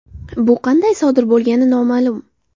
Bu qanday sodir bo‘lgani noma’lum.